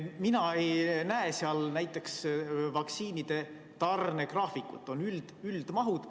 Mina ei näe seal näiteks vaktsiinide tarne graafikut, on ainult üldmahud.